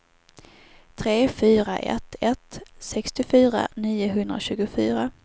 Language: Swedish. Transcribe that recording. tre fyra ett ett sextiofyra niohundratjugofyra